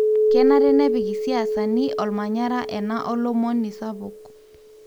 kenare nepik isiasani olmanyara ena olomoni sapuk.